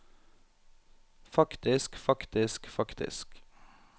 faktisk faktisk faktisk